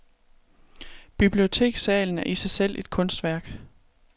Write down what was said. Bibliotekssalen er i sig selv et kunstværk.